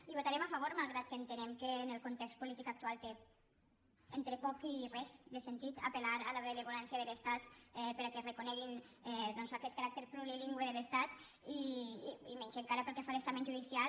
i hi votarem a favor malgrat que entenem que en el context polític actual té entre poc i res de sentit apel·lar a la benevolència de l’estat perquè reconegui doncs aquest caràcter plurilingüe de l’estat i menys encara pel que fa a l’estament judicial